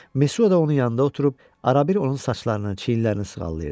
Mesua da onun yanında oturub arabir onun saçlarını, çiyinlərini sığallayırdı.